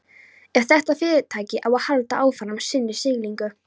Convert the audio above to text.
Ef þetta fyrirtæki á að halda áfram sinni siglingu.